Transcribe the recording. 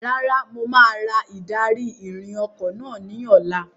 Rárá, mo máa ra ìdarí-ìrìn ọkọ̀ náà ní ọ̀la.